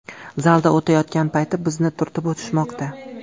Zalda o‘tayotgan payti bizni turtib o‘tishmoqda.